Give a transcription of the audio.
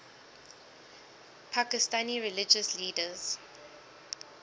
pakistani religious leaders